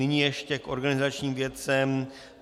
Nyní ještě k organizačním věcem.